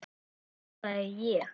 hvísla ég.